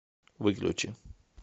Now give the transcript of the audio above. выключи